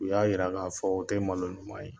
U y'a yira ka fɔ o tɛ malo ɲuman ye.